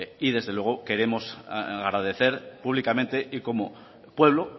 y desde luego queremos agradecer públicamente y como pueblo